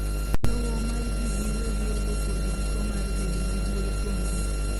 lowo mar jii giwegi onge kod giko marbedo gi duol kuomgi